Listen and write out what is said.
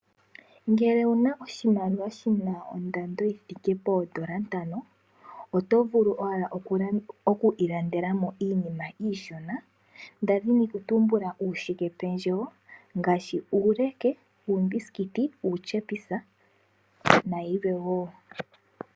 Ngele owuna oshimaliwa shondando yi thike poondola ntano oto vulu owala oku ilandelamo iinima iishona, ndaki ndina okutumbula uushikependjewo ngaashi uuleke, uumbisikiti, uutyepisa nayilwe wo.